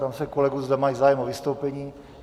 Ptám se kolegů, zda mají zájem o vystoupení.